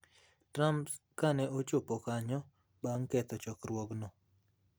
Trump kane ochopo kanyo bang' ketho chokruogno